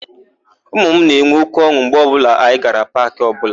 Ụmụ m na-enwe óké ọn̄ụ mgbe ọbụla anyị gara paakị ọbụla.